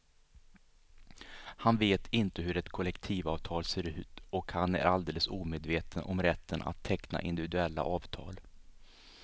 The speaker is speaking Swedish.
Han vet inte hur ett kollektivavtal ser ut och han är alldeles omedveten om rätten att teckna individuella avtal.